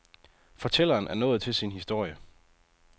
Fortælleren er nået til sin historie.